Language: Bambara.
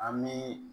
An bɛ